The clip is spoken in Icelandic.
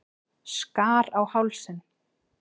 Skar á hálsinn.